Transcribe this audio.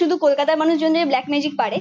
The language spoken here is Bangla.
শুধু কলকাতার মানুষজনদের ব্ল্যাক ম্যাজিক পারে।